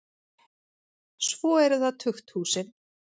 Svo eru það tukthúsin.